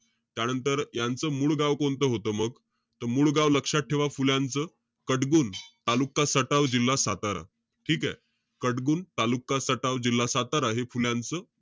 त्यानंतर यांचं मूळ गाव कोणतं होतं मग? त मूळ गाव लक्षात ठेवा, फुल्यांच. कटबुन, तालुका सटावं, जिल्हा सातारा. ठीकेय? कटबुन, तालुका सटावं, जिल्हा सातारा हे फुल्यांच,